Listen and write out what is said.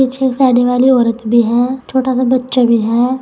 पीछे एक साड़ी वाली औरत भी है छोटा सा बच्चा भी है।